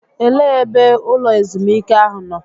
Elee ebe ụlọ ezumike ahụ nọ?